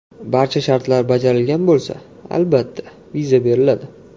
Barcha shartlar bajarilgan bo‘lsa, albatta, viza beriladi.